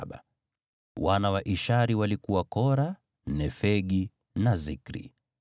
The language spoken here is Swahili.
Wana wa Ishari walikuwa Kora, Nefegi na Zikri.